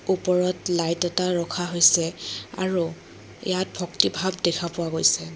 ওপৰত লাইট এটা ৰখা হৈছে আৰু ইয়াত ভক্তিভাৱ দেখা পোৱা গৈছে।